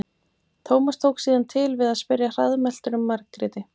Tómas tók síðan til við að spyrja hraðmæltur um Margréti.